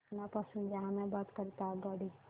पटना पासून जहानाबाद करीता आगगाडी